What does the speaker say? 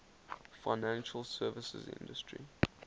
financial services industry